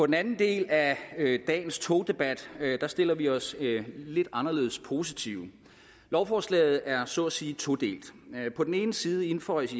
den anden del af dagens togdebat stiller vi os anderledes positivt lovforslaget er så at sige todelt på den ene side indføjes